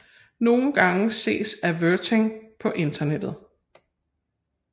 Nogle gange ses avertering på internettet